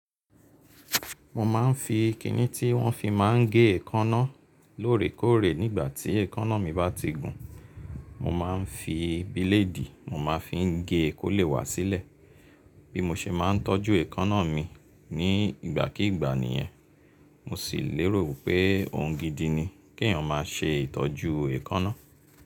Mo má ń fi kìní tí wọ́n fi máa ń gé èkọ́ná lóòrèkóòrè nígbà tí èkọ́ná mi bá ti gun, mo máa ń fi bíléèdì mo máa fi ń gé kólè wá sílẹ̀. Bí mo ṣe máa ń tọ́jú èkọ́ná mi ní ìgbàkí ìgbà nìyẹn, mo sì lérò pé ohun gidi ni kí èèyàn má á ṣe ìtọ́jú èkọ́ná.